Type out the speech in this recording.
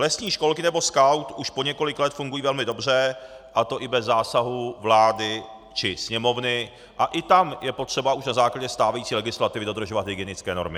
Lesní školky nebo Skaut už po několik let fungují velmi dobře, a to i bez zásahu vlády či Sněmovny, a i tam je potřeba už na základě stávající legislativy dodržovat hygienické normy.